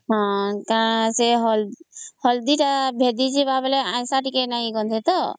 ହଁ ସେ ହଳଦୀ ତା ମିଶିଯିବ ପରେ ଆଇଁଷ ଟିକେ ନାଇଁ ଗନ୍ଧେଇ ତ